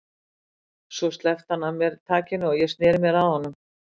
Svo sleppti hann af mér takinu og ég sneri mér að honum.